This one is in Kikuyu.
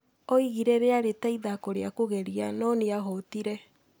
Oigire rĩa rĩ ta ithako rĩa kũgeria no nĩ ahotire.